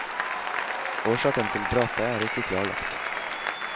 Årsaken til drapet er ikke klarlagt.